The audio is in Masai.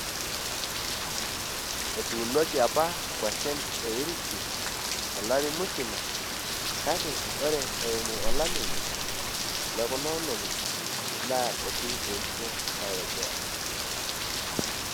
Etuunoki apa nkuashen e irisi to lari musima, kake ore eimu olameyu lekuna olong`I, naa eitu eisho aitobiraki.